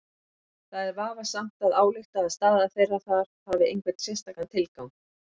Það er vafasamt að álykta að staða þeirra þar hafi einhvern sérstakan tilgang.